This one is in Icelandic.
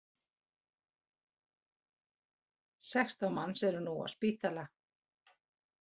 Sextán manns eru nú á spítala